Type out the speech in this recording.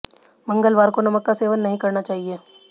मंगलवार को नमक का सेवन नहीं करना चाहिए